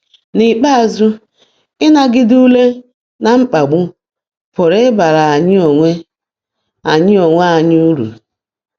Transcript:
N’ikpeazụ, ịnagide ule na mkpagbu pụrụ ịbara anyị onwe anyị onwe anyị uru.